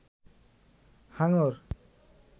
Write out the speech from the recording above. হাঙ্গর